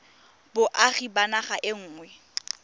boagi ba naga e nngwe